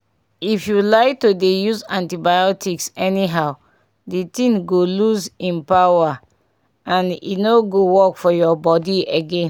if you like to dey use antibiotics anyhow di ting go lose hin power and e nor go work for ur body again